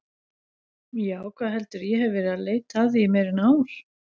Já, hvað heldurðu, ég hef verið að leita að því í meira en ár.